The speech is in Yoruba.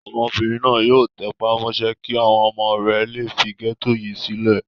Obìnrin náà yóò tẹpá mọ́ṣẹ́ kí àwọn ọmọ rẹ̀ le fi gẹ́tò yìí sílẹ̀.